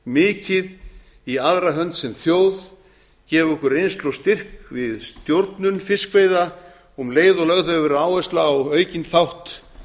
mikið í aðra hönd sem þjóð gefið okkur reynslu og styrk við stjórnun fiskveiða og um leið og lögð hefur verið áhersla á aukinn þátt